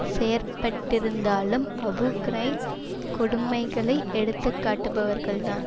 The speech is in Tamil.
செயற்பட்டிருந்தாலும் அபு கிரைப் கொடுமைகளை எடுத்துக்காட்டுபவர்கள்தான்